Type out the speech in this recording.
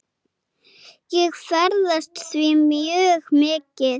Ég ferðast því mjög mikið.